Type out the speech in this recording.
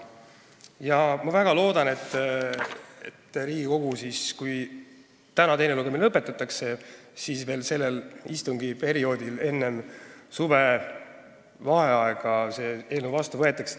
Ja ma väga loodan, et see eelnõu Riigikogus, kui teine lugemine täna lõpetatakse, veel sellel istungiperioodil, enne suvevaheaega vastu võetakse.